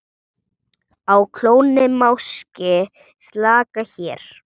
Á klónni máski slaka hér.